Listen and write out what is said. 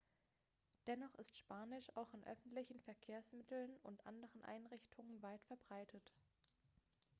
dennoch ist spanisch auch in öffentlichen verkehrsmitteln und anderen einrichtungen weit verbreitet